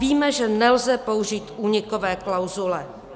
Víme, že nelze použít únikové klauzule.